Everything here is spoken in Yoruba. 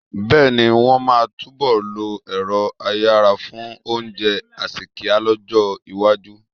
Bẹ́ẹ̀ ni, wọ́n máa túnbọ̀ lo ẹ̀rọ́ ayanran fún oúnjẹ àsèkíá lọ́jọ́-iwájú.